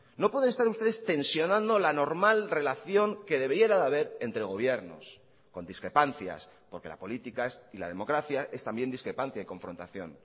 no pueden estar ustedes tensionando la normal relación que debiera de haber entre gobiernos con discrepancias porque la política es y la democracia es también discrepancia y confrontación